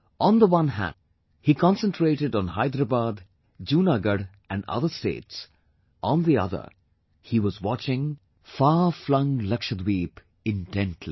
On the one hand, he concentrated on Hyderabad, Junagarh and other States; on the other, he was watching far flung Lakshadweep intently